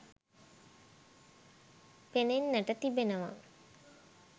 පෙනෙන්නට තිබෙනවා.